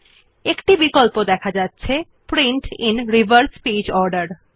একটি check box দেখা যাচ্ছে print in reverse page order